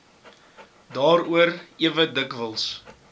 daaroor ewe dikwels